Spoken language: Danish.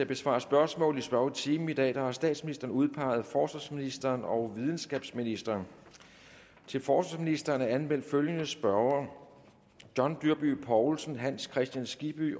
besvare spørgsmål i spørgetimen i dag har statsministeren udpeget forsvarsministeren og videnskabsministeren til forsvarsministeren er anmeldt følgende spørgere john dyrby paulsen hans kristian skibby